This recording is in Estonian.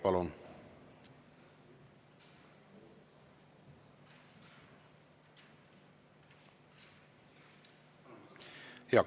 Palun!